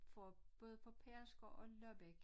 Fra både fra Pedersker og Lobbæk